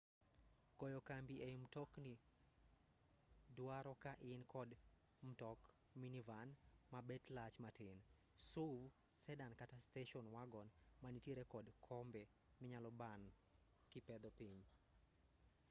goyo kambi ei mtokni duaro ka in kod mtok minivan ma bet lach matin suv sedan kata station wagon manitiere kod kombe minyalo ban kipedho piny